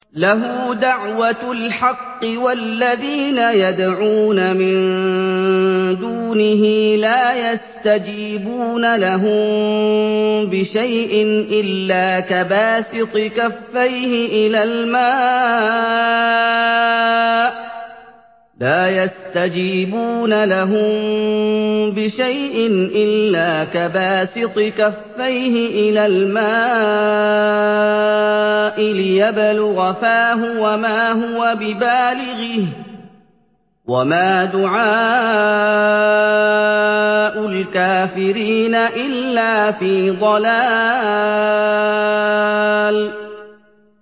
لَهُ دَعْوَةُ الْحَقِّ ۖ وَالَّذِينَ يَدْعُونَ مِن دُونِهِ لَا يَسْتَجِيبُونَ لَهُم بِشَيْءٍ إِلَّا كَبَاسِطِ كَفَّيْهِ إِلَى الْمَاءِ لِيَبْلُغَ فَاهُ وَمَا هُوَ بِبَالِغِهِ ۚ وَمَا دُعَاءُ الْكَافِرِينَ إِلَّا فِي ضَلَالٍ